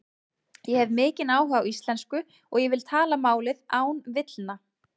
Ég hef mikinn áhuga á íslensku og ég vil tala málið án villna.